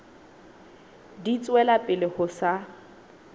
di tswela pele ho sa